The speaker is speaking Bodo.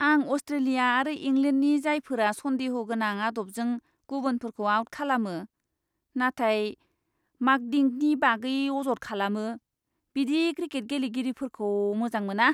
आं अस्ट्रेलिया आरो इंलेन्डनि जायफोरा सन्देह गोनां आदबजों गुबुनफोरखौ आउट खालामो, नाथाय मांकडिंगनि बागै अजद खालामो बिदि क्रिकेट गेलेगिरिफोरखौ मोजां मोना।